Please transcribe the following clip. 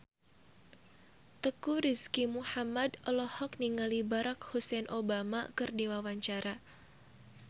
Teuku Rizky Muhammad olohok ningali Barack Hussein Obama keur diwawancara